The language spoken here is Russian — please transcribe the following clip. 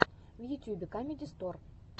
в ютюбе камеди стор